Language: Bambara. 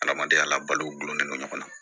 Adamadenya la balolen don ɲɔgɔn na